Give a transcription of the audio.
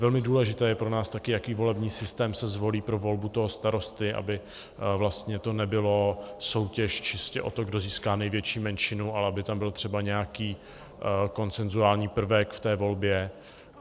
Velmi důležité je pro nás také, jaký volební systém se zvolí pro volbu toho starosty, aby vlastně to nebyla soutěž čistě o to, kdo získá největší menšinu, ale aby tam byl třeba nějaký konsenzuální prvek v té volbě.